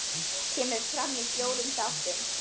Kemur fram í fjórum þáttum.